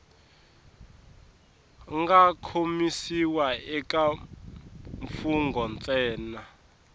nga kombisiwa eka mfugnho ntsena